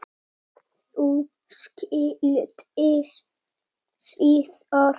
Þau skildi síðar.